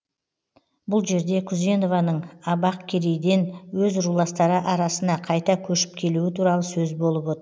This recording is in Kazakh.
бұл жерде күзенованың абақкерейден өз руластары арасына қайта көшіп келуі туралы сөз болып оты